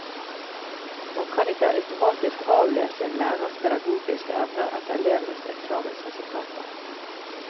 Man kan ikke automatisk avlese en lærers pedagogiske evner etter elevenes eksamensresultater.